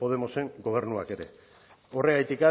podemosen gobernuak ere horregatik